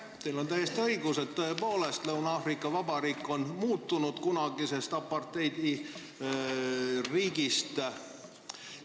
Teil on täiesti õigus, tõepoolest, Lõuna-Aafrika Vabariik on kunagise apartheidiriigi aegadega võrreldes muutunud.